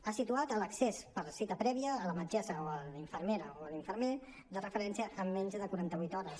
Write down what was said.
ha situat l’accés per cita prèvia a la metgessa o a la infermera o a l’infermer de referència en menys de quaranta vuit hores